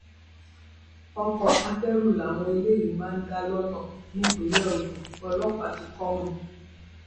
ọkọ akẹrù làwọn eléyìí máa ń dá lọnà nípínlẹ ogun ọlọpàá ti kọ wọn